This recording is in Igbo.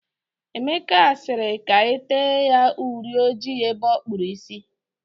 Emeka sịrị ka e tee ya uri ojii ebe ọ kpụrụ isi.